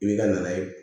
I b'i ka na ye